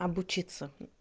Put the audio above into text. обучиться